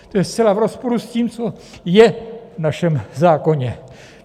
To je zcela v rozporu s tím, co je v našem zákoně.